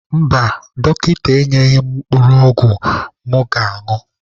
Mba, dọkịta enyeghị m mkpụrụ ọgwụ m ga-añụ añụ.